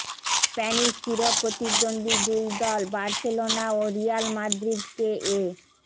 Spanish চিরপ্রতিদ্বন্দ্বী দুই দল বার্সেলোনা ও রিয়াল মাদ্রিদকে এ